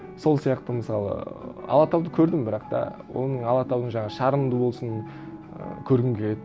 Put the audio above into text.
сол сияқты мысалы алатауды көрдім бірақ та оның алатаудың жаңағы шарынды болсын і көргім келеді